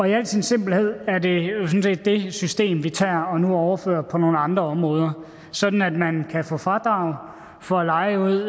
i al sin simpelhed er det jo sådan set det system vi tager og nu overfører på nogle andre områder sådan at man kan få fradrag for at leje ud